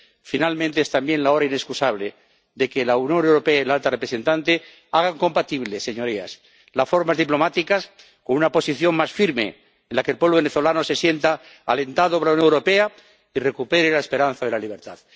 Finalmente, es también la hora inexcusable de que la Unión Europea y la alta representante hagan compatibles, señorías, las formas diplomáticas con una posición más firme en la que el pueblo venezolano se sienta alentado por la Unión Europea y recupere la esperanza de la libertad.